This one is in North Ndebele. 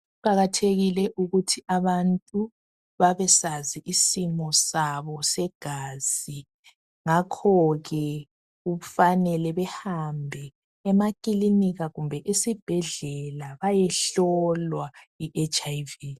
Kuqakathekile ukuthi abantu babesazi isimo sabo segazi ngakho ke kufanele behambe emakilinika kumbe esibhedlela bayehlolwa i HIV.